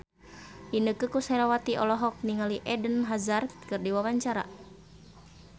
Inneke Koesherawati olohok ningali Eden Hazard keur diwawancara